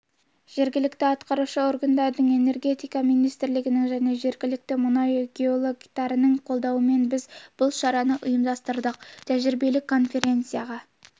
жергілікті атқарушы органдардың энергетика министрлігінің және жергілікті мұнайшы геологтарының қолдауымен біз бұл шараны ұйымдастырдық ғылыми-тәжірибелік конференцияға